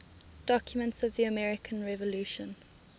documents of the american revolution